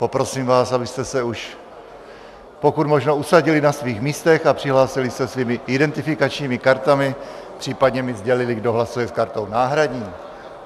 Poprosím vás, abyste se už pokud možno usadili na svých místech a přihlásili se svými identifikačními kartami, případně mi sdělili, kdo hlasuje s kartou náhradní.